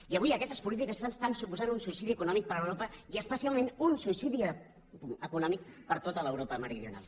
i avui aquestes polítiques suposen un suïcidi econòmic per a europa i especialment un suïcidi econòmic per a tota l’europa meridional